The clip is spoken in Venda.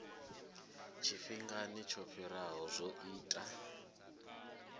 tshifhingani tsho fhiraho zwo ita